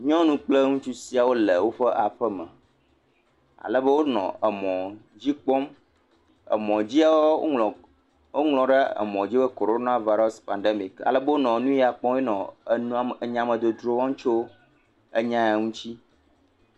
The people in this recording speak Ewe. Nyɔnu kple ŋutsu siawo le woƒe aƒe me alebe wonɔ mɔ dzi kpɔm emɔ dzia woŋlɔ ɖe emɔa dzi be Corona Virus Pandemic alebe wonɔ nua kpɔm eye wonɔ nyamedzodzro wɔm tso enya ya ŋti